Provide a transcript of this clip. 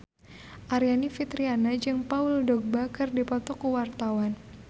Aryani Fitriana jeung Paul Dogba keur dipoto ku wartawan